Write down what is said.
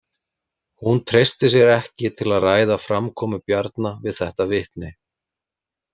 Hún treysti sér ekki til að ræða framkomu Bjarna við þetta vitni.